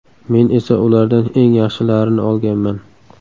Men esa ulardan eng yaxshilarini olganman.